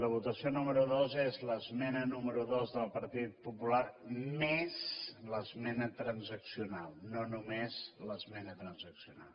la votació número dos és l’esmena número dos del partit popular més l’esmena transaccional no només l’esmena transaccional